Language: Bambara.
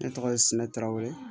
Ne tɔgɔ ye sinɛ tarawele